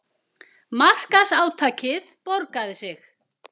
Markaðsátakið borgaði sig